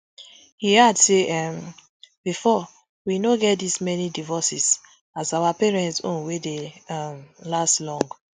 e add say um bifor we no get dis many divorces as our parents own wey dey um last long